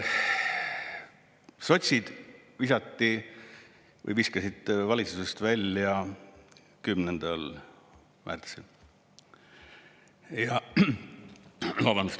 Sotsid viskasite valitsusest välja 10. märtsil.